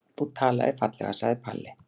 Þú talaðir fallega, sagði Palli.